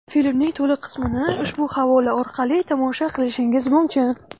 Filmning to‘liq qismini ushbu havola orqali tomosha qilishingiz mumkin.